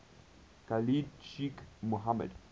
khalid sheikh mohammed